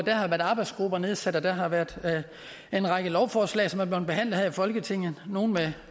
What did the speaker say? der har været arbejdsgrupper nedsat og der har været en række lovforslag som er blevet behandlet her i folketinget nogle